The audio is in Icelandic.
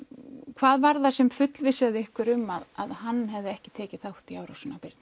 hvað var það sem fullvissaði ykkur um að hann hafði ekki tekið þátt í árásinni á Birnu